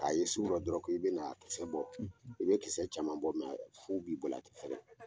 K'a ye sugu rɔ dɔrɔnw, ko i bɛ na a kisɛ bɔ, i bɛ kisɛ caman bɔ , mɛ fu b'i bolo , a tɛ falen.